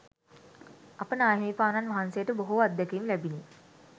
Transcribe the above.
අප නාහිමිපාණන් වහන්සේට බොහෝ අත්දැකීම් ලැබිණි.